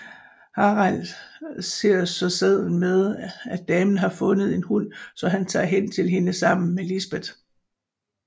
Harald ser så sedlen med at damen har fundet en hund så han tager hen til hende sammen med Lisbeth